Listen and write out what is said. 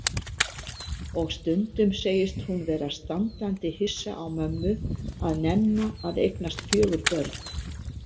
Og stundum segist hún vera standandi hissa á mömmu að nenna að eignast fjögur börn.